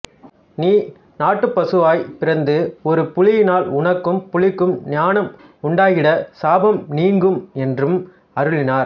நீ நாட்டுப்பசுவாய் பிறந்து ஒரு புலியினால் உனக்கும் புலிக்கும் ஞானம் உண்டாகிடச் சாபம் நீங்கும் என்றும் அருளினார்